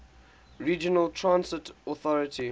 regional transit authority